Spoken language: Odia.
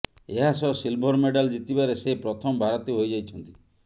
ଏହା ସହ ସିଲଭର ମେଡାଲ ଜିତିବାରେ ସେ ପ୍ରଥମ ଭାରତୀୟ ହୋଇଯାଇଛନ୍ତି